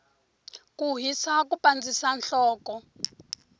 ku hisa ku pandzisa nhloko